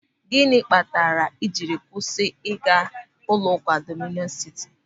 Gịnị kpatara ị jiri kwụsị ịga ụlọụka Dọmịnịọn Sịtị?